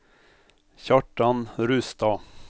Kjartan Rustad